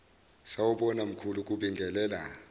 sawubona mkhulu kubingelela